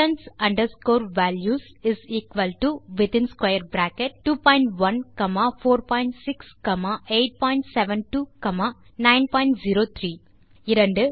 distance underscore valueswthin square bracket 21 comma 46 comma 872 comma 903 2